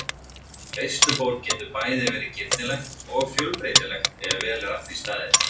Veisluborð getur bæði verið girnilegt og fjölbreytilegt ef vel er að því staðið.